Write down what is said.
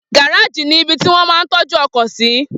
Gáràjì ni ibi tí wón máa ń tọ́jú ọkọ̀ sí